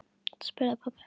spurði pabbi.